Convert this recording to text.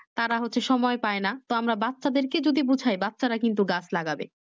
তারা হচ্ছে সময় পাইনা তো আমরা বাচ্চাদেরকে যদি বুঝাই বাচ্ছারা কিন্তু গাছ লাগবে